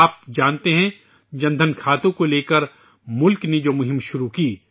اب آپ جانتے ہیں کہ جن دھن کھاتوں کے حوالے سے ملک نے ایک مہم شروع کی